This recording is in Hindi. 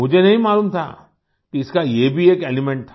मुझे नहीं मालूम था कि इसका ये भी एक एलिमेंट था